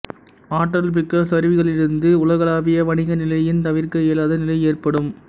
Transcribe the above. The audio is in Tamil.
ஆற்றல்மிக்க சரிவுகளிலிருந்து உலகளாவிய வணிக நிலையின் தவிர்க்க இயலாத நிலை ஏற்படும்